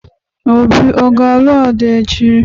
Obi ga-alụ Ada echi?